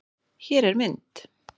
Hér er mynd